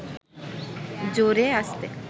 জোরে, আস্তে